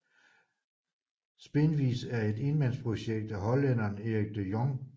Spinvis er et enmandsprojekt af hollænderen Erik de Jong